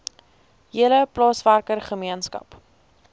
hele plaaswerker gemeenskap